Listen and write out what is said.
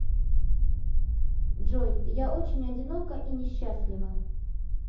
джой я очень одинока и несчастлива